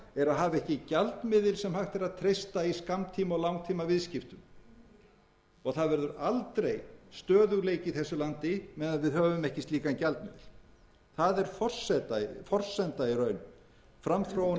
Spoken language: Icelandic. er að hafa ekki gjaldmiðil sem hægt er að treysta í skammtíma og langtímaviðskiptum það verður aldrei stöðugleiki í þessu landi meðan við höfum ekki slíkan gjaldmiðil það er forsenda í raun framþróunar í